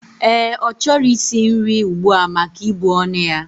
Ee, ochoro is nrii ugbua maka ibu onu ya.